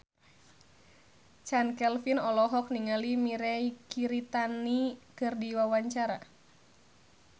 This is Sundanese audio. Chand Kelvin olohok ningali Mirei Kiritani keur diwawancara